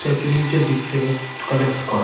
Statue -র নিচের দিক থেকে কালেক্ট করা।